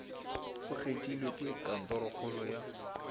o kgethilwe ke kantorokgolo ya